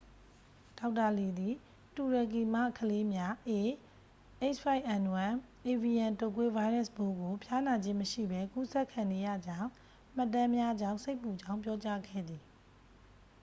ဒေါက်တာလီသည် တူရကီမှကလေးများ ah၅n၁ အေဗီယန် တုတ်ကွေး ဗိုင်းရပ်စ်ပိုးကို ဖျားနာခြင်းမရှိပဲ ကူးစက်ခံနေရကြောင်း မှတ်တမ်းများကြောင့် စိတ်ပူကြောင်းပြောကြားခဲ့သည်။